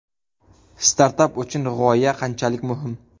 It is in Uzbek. Startap uchun g‘oya qanchalik muhim?.